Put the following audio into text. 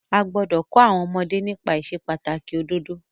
A gbọ́dọ̀ kọ́ àwọn ọmọdé nípa ìsepàtàkì òdodo.